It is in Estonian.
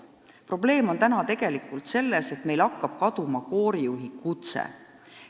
Probleem ongi tegelikult selles, et meil hakkab kaduma koorijuhi kutse.